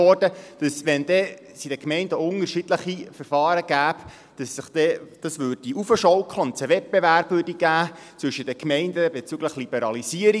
Wenn es in den Gemeinden unterschiedliche Verfahren gäbe, würde sich dies hochschaukeln, und es käme zu einem Wettbewerb zwischen den Gemeinden bezüglich der Liberalisierung.